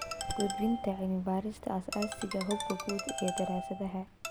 Gudbinta cilmi-baarista aasaasiga ah, habka guud ee daraasadaha